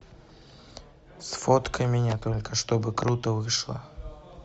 сфоткай меня только чтобы круто вышло